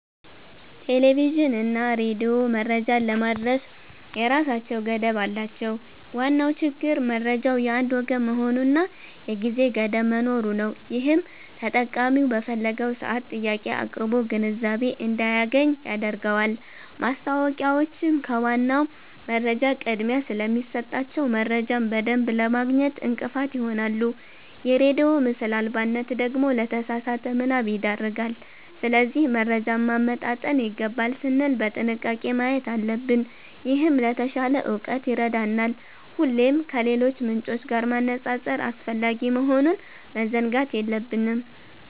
ቴሌቪዥንና ሬዲዮ መረጃን ለማድረስ የራሳቸው ገደብ አላቸው። ዋናው ችግር መረጃው የአንድ ወገን መሆኑና የጊዜ ገደብ መኖሩ ነው፤ ይህም ተጠቃሚው በፈለገው ሰዓት ጥያቄ አቅርቦ ግንዛቤ እንዳያገኝ ያደርገዋል። ማስታወቂያዎችም ከዋናው መረጃ ቅድሚያ ስለሚሰጣቸው፣ መረጃን በደንብ ለማግኘት እንቅፋት ይሆናሉ። የሬዲዮ ምስል አልባነት ደግሞ ለተሳሳተ ምናብ ይዳርጋል። ስለዚህ መረጃን ማመጣጠን ይገባል ስንል በጥንቃቄ ማየት አለብን፤ ይህም ለተሻለ እውቀት ይረዳናል። ሁሌም ከሌሎች ምንጮች ጋር ማነጻጸር አስፈላጊ መሆኑን መዘንጋት የለብንም።